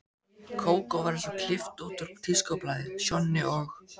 Kókó var eins og klippt út úr tískublaði, Sjonni og